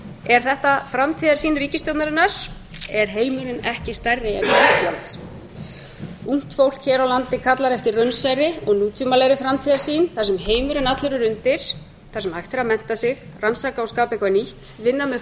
er þetta framtíðarsýn ríkisstjórnarinnar er heimurinn ekki stærri en ísland ungt fólk hér á landi kallar eftir raunsærri og nútímalegri framtíðarsýn þar sem heimurinn allur er undir þar sem hægt er að mennta sig rannsaka og skapa eitthvað nýtt vinna með